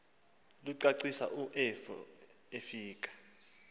licacisa u efika